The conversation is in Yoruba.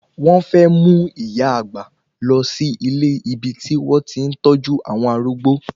Wón fẹ́ mú ìyá àgbà lọ sí ilé ibi tí wọ́n ti ń tọ́jú àwọn arúgbó